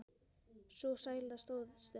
Sú sæla stóð stutt.